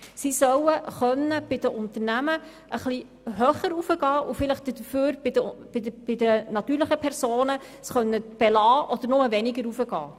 Sie sollen bei den Unternehmen etwas höher gehen können und dafür bei den natürlichen Personen das bisherige Niveau belassen oder weniger erhöhen können.